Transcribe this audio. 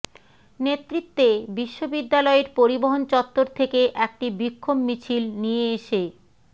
নেতৃত্বে বিশ্ববিদ্যালয়ের পরিবহন চত্বর থেকে একটি বিক্ষোভ মিছিল নিয়ে এসে